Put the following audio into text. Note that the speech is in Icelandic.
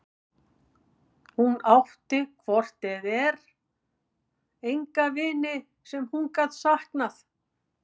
Hún átti hvort eð var enga vini sem hún gat saknað.